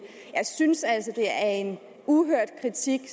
jeg synes altså det er en uhørt kritik af